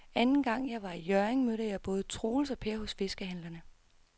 Anden gang jeg var i Hjørring, mødte jeg både Troels og Per hos fiskehandlerne.